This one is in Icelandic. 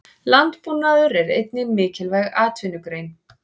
Landbúnaður er einnig mikilvæg atvinnugrein.